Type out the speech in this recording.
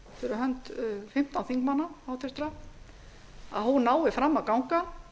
hönd fimmtán háttvirtra þingmanna nái fram að ganga